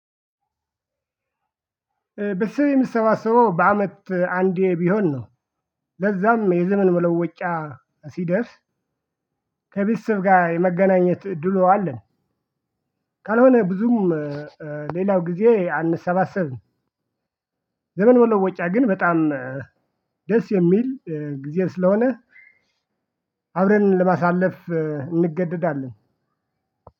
በስር የሚሰባሰበው በአመት አንዴ ቢሆን ነው። ለዛም የዘመን መለወጫ ሲደርስ ከቤተሰብ ጋር የመገናኘት እድሉ አለን። ካልሆነ ብዙም ሌላው ጊዜ አንሰባሰብም። ዘመን መለወጫ ግን በጣም ደስ የሚል ጊዜ ስለሆነ አብረን ለማሳለፍ እንገደዳለን።